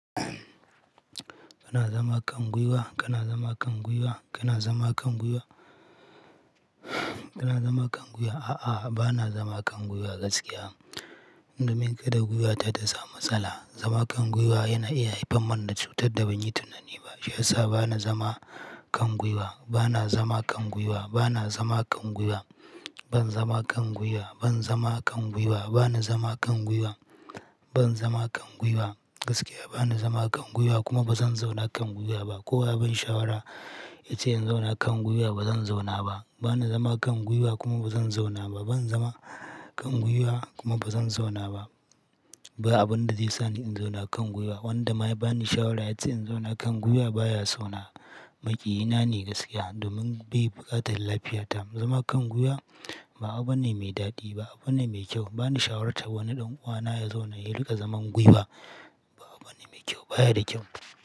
Kana zama kan gwiwa? Kana zama kan gwiwa? Kana zama kan gwiwa? Kana zama kan gwiwa? A'a, bana zama kan gwiwa gaskiya. Domin kada gwiwata ta samu matsala. Zama kan gwiwa yana iya haifar man da cutar da ban yi tunani ba. Shi ya sa bana zama kan gwiwa. Bana zama kan gwiwa. Bana zama kan gwiwa. Ban zama kan gwiwa. Ban zama kan gwiwa. Bana zama kan gwiwa. Ban zama kan gwiwa. Gaskiya bana zama kan gwiwa kuma ba zan zauna kan gwiwa ba. Ko wa ya ban shawara, ya ce in zauna kan gwiwa, ba zan zauna ba. Bana zama kan gwiwa kuma ba zan zauna ba. Ban zama kan gwiwa, kuma ba zan zauna ba. Ba abun da zai sa ni in zauna kan gwiwa. Wanda ma ya bani shawara ya ce in zauna kan gwiwa baya so na. Maƙiyi na ne gaskiya, domin bai buƙatan lafiya ta. Zama kan gwiwa, ba abu ba ne mai daɗi, ba abu ba ne mai kyau. Ba ni shawartar wani ɗan uwana ya zauna, ya riƙa zaman gwiwa. Ba abu ne mai kyau, baya da kyau.